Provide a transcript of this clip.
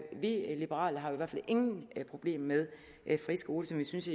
vi liberale har i hvert fald ingen problemer med friskoler som vi synes